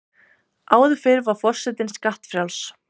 Áður fyrr var forsetinn skattfrjáls.